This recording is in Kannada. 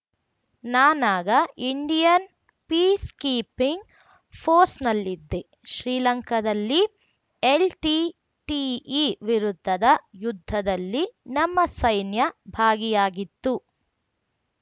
ನಾನಾಗ ಇಂಡಿಯನ್‌ ಪೀಸ್‌ಕೀಪಿಂಗ್‌ ಫೋರ್ಸ್‌ನಲ್ಲಿದ್ದೆ ಶ್ರೀಲಂಕಾದಲ್ಲಿ ಎಲ್‌ಟಿಟಿಇ ವಿರುದ್ಧದ ಯುದ್ಧದಲ್ಲಿ ನಮ್ಮ ಸೈನ್ಯ ಭಾಗಿಯಾಗಿತ್ತು